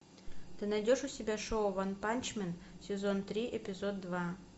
ты найдешь у себя шоу ванпанчмен сезон три эпизод два